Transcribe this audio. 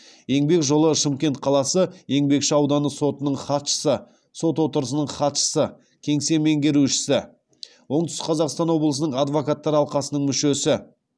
еңбек жолы шымкент қаласы еңбекші ауданы сотының хатшысы сот отырысының хатшысы кеңсе меңгерушісі оңтүстік қазақстан облысының адвокаттар алқасының мүшесі